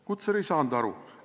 Kutser ei saanud aru!